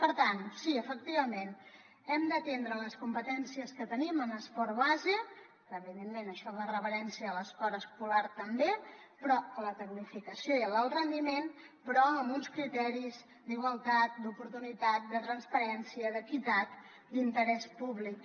per tant sí efectivament hem d’atendre les competències que tenim en l’esport base que evidentment això fa referència a l’esport escolar també però a la tecnificació i a l’alt rendiment però amb uns criteris d’igualtat d’oportunitat de transparència d’equitat d’interès públic